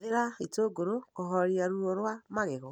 Hũthĩra itũngũrũ kũhooreria ruo rwa magego.